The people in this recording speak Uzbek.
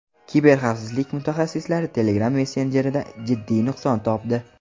Kiberxavfsizlik mutaxassislari Telegram messenjerida jiddiy nuqson topdi.